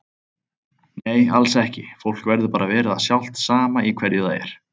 Nei alls ekki, fólk verður bara að vera það sjálft sama í hverju það er.